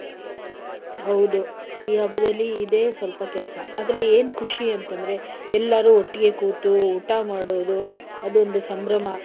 ಹೌದು.ಈ ಹಬ್ಬದಲ್ಲಿ ಇದೇ ಸ್ವಲ್ಪ ಕೆಲ್ಸ. ಆದ್ರೆ ಏನ್ ಖುಷಿ ಅಂತಂದ್ರೆ ಎಲ್ಲರೂ ಒಟ್ಟಿಗೆ ಕೂತು ಊಟ ಮಾಡೋದು ಅದೊಂದು ಸಂಭ್ರಮ.